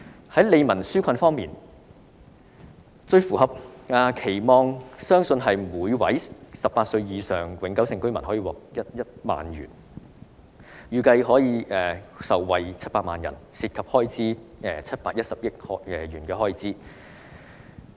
在利民紓困方面，最符合市民期望的相信是每位18歲或以上的永久性居民獲得1萬元，預計700萬人受惠，涉及開支710億元。